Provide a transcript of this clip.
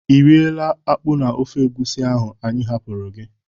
Ị rịela akpụ na ofe egwusi ahụ anyị hapụrụ gị?